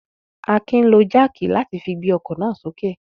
Akin lo jáákì láti fi gbé ọkọ̀ náà sókè.